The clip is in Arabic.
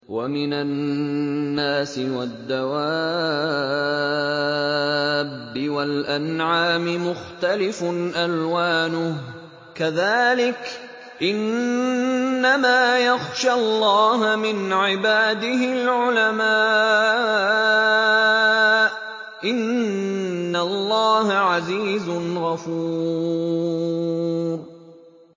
وَمِنَ النَّاسِ وَالدَّوَابِّ وَالْأَنْعَامِ مُخْتَلِفٌ أَلْوَانُهُ كَذَٰلِكَ ۗ إِنَّمَا يَخْشَى اللَّهَ مِنْ عِبَادِهِ الْعُلَمَاءُ ۗ إِنَّ اللَّهَ عَزِيزٌ غَفُورٌ